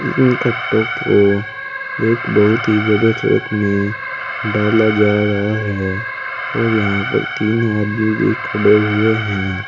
इन कट्टों को एक बहुत ही बड़े ट्रक में डाला जा रहा है और यहां पर तीन आदमी भी खड़े हुए हैं।